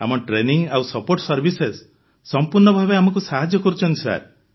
ଆମ ଟ୍ରେନିଂ ଆଉ support services ସମ୍ପୂର୍ଣ୍ଣ ଭାବେ ଆମକୁ ସାହାଯ୍ୟ କରୁଛନ୍ତି